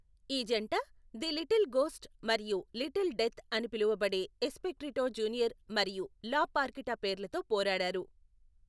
ఈ జంట the little ghost మరియు లిటిల్ డెత్ అని పిలవబడే ఎస్పెక్ట్రిటో జూనియర్ మరియు లా పార్కిటా పేర్లతో పోరాడారు.